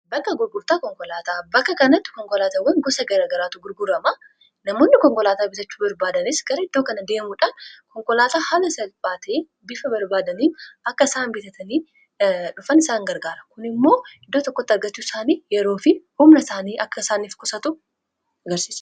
bakka gurgurtaa konkolaataa bakka kanatti konkolaatawwan gosa garagaraatu gurguramaa namoonni konkolaataa bitachuu barbaadanis gara iddoo kana deemuudhaan konkolaataa hala sapaatii bifa barbaadanii akka isaan bitatanii dhufan isaan gargaara kun immoo iddoo tokkotti argachuu isaanii yeroo fi humna isaanii akka isaaniif kusatu agarsia